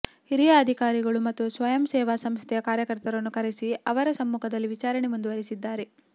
ಹಿರಿಯ ಅಧಿಕಾರಿಗಳು ಮತ್ತು ಸ್ವಯಂ ಸೇವಾ ಸಂಸ್ಥೆಯ ಕಾರ್ಯಕರ್ತರನ್ನು ಕರೆಸಿ ಅವರ ಸಮ್ಮುಖದಲ್ಲಿ ವಿಚಾರಣೆ ಮುಂದುವರೆಸಿದ್ದಾರೆ